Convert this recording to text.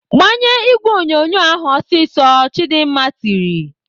"Gbanye ìgwè onyonyo ahụ ọsịsọ!" Chidimma tiri.